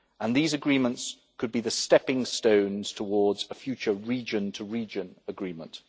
These agreements could be the stepping stones towards a future region to region agreement.